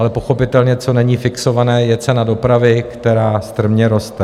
Ale pochopitelně, co není fixované, je cena dopravy, která strmě roste.